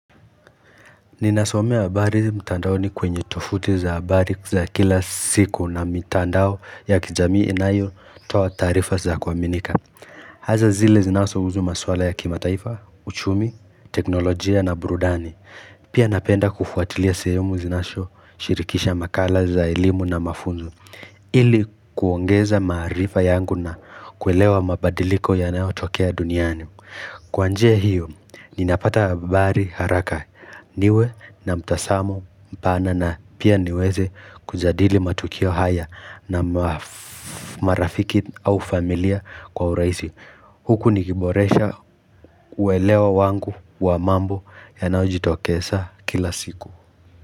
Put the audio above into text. Ninasomea habari mtandaoni kwenye tofuti za habari za kila siku na mitandao ya kijamii inayotoa taarifa za kuaminika. Hasa zile zinazohusu maswala ya kimataifa, uchumi, teknolojia na burudani Pia napenda kufuatilia sehemu zinazoshirikisha makala za elimu na mafunzo ili kuongeza maarifa yangu na kuelewa mabadiliko yanayotokea duniani. Kwa njia hiyo, ninapata habari haraka, niwe na mtazamo mpana na pia niweze kujadili matukio haya na marafiki au familia kwa uraisi. Huku nikiboresha kuelewa wangu wa mambo yanayojitokeza kila siku.